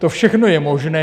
To všechno je možné.